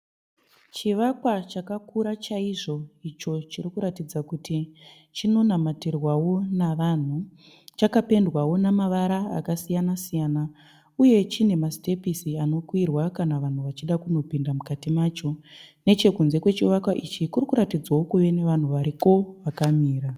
Chivakwa chakakura chaizvo. Icho chiri kuratudza kuti chinonamatirwawo navanhu. Chakapendwawo namavara akasiyana siyana uye chine ma sitepisi anokwirwa kana vanhu vachida kunopinda mukati macho. Nechekunze kwechivakwa ichi kuri kuratidza kuti kune vanhu variko vakamira.